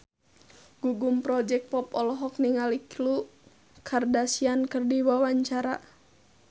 Gugum Project Pop olohok ningali Khloe Kardashian keur diwawancara